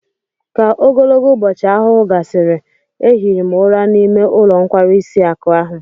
Ka ogologo ubochi ahuhu gasiri, ehiri m ura n'ime ulo nkwarisi akụ ahụ